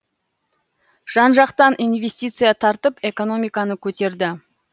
жан жақтан инвестиция тартып экономиканы көтерді